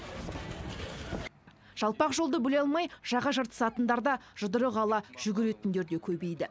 жалпақ жолды бөле алмай жаға жыртысатындар да жұдырық ала жүгіретіндер де көбейді